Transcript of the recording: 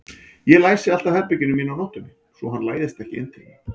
Ég læsi alltaf herberginu mínu á nóttunni svo hann læðist ekki inn til mín.